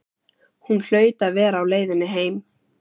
Hún hlaut að vera á leiðinni heim.